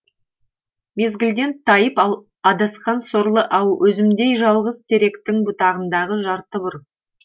мезгілден тайып адасқан сорлы ау өзімдей жалғыз теректің бұтағындағы жарты бүр